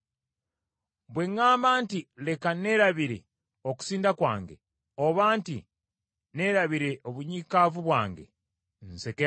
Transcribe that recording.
Bwe ŋŋamba nti, Leka neerabire okusinda kwange, oba nti neerabire obunyiikaavu bwange, nsekemu,